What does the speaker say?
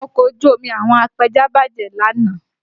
Ọkọ̀ ojú omi àwọn apẹja bàjẹ́ lánàá